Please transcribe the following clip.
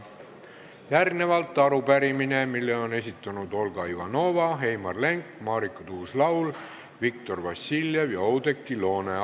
Järgnevalt arupärimine, mille on esitanud Olga Ivanova, Heimar Lenk, Marika Tuus-Laul, Viktor Vassiljev ja Oudekki Loone.